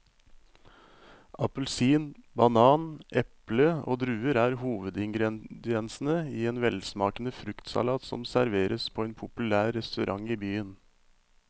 Appelsin, banan, eple og druer er hovedingredienser i en velsmakende fruktsalat som serveres på en populær restaurant i byen.